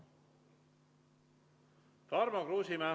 Tarmo Kruusimäe.